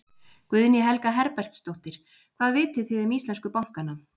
Guðný Helga Herbertsdóttir: Hvað vitið þið um íslensku bankana?